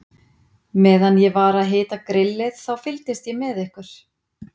Meðan ég var að hita grillið, þá fylgdist ég með ykkur.